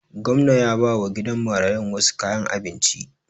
Gwamnan ya bawa gidan marayun wasu kayan abinci